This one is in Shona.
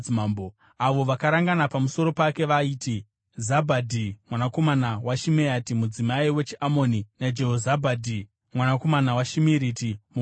Avo vakarangana pamusoro pake vaiti Zabhadhi mwanakomana waShimeati, mudzimai wechiAmoni, naJehozabhadhi, mwanakomana waShimiriti muMoabhu.